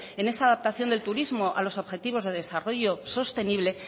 en esa adaptación del turismo a los objetivos de desarrollo sostenible